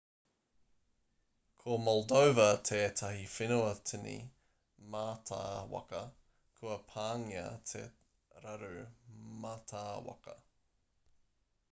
ko moldova tētahi whenua tini mātāwaka kua pāngia e te raru mātāwaka